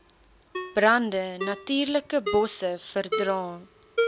brande natuurlikebosse verdra